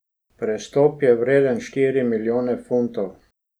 Prestop je vreden štiri milijone funtov.